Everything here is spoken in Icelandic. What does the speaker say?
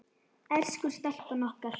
Elsku stelpan okkar.